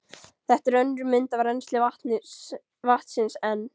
Þetta er önnur mynd af rennsli vatnsins en